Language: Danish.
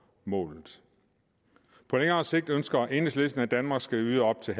målet på længere sigt ønsker enhedslisten at danmark skal yde op til